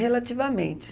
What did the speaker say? Relativamente.